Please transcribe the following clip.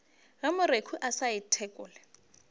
ge moreku a sa ithekole